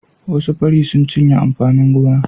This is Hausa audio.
Wasu fari sun cinye amfanin gona.